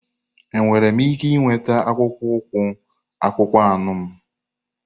Enwere m ike ịnweta akpụkpọ ụkwụ akpụkpọ anụ m?